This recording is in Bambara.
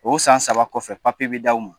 O san saba kɔfɛ bi d'aw ma.